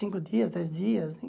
Cinco dias, dez dias.